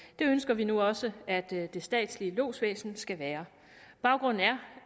det ønsker vi nu også at det statslige lodsvæsen skal være baggrunden er